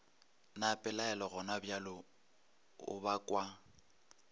na pelaelo gonabjale o bakwa